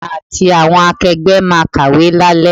Èmi àti àwọn akegbe máa kàwé lale.